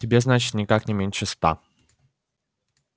тебе значит никак не меньше ста